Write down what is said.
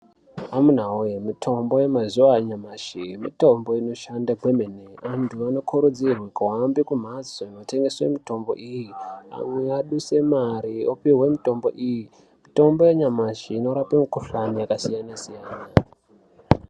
Amuna woye, mithombo yemazuwa anyamashi mitombo inoshanda kwemene, anthu anokurudzirwe kuhambe kumhatso kunotengeswa mithombo iya auya aduse mare opuhwe mitombo iyi . Mitombo yanyamashi inorape mikhuhlani yakasiyana-siyana.